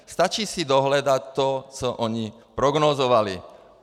Stačí si dohledat to, co oni prognózovali.